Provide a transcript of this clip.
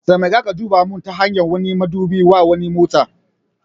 Taimaka ka duba min ta hanyar wani madubin wa wani motar.